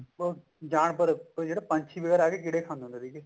ਜਾਨਵਰ ਜਿਹੜੇ ਪੰਛੀ ਵਗੈਰਾ ਉਹ ਕੀੜੇ ਖਾਂਦੇ ਸੀਗੇ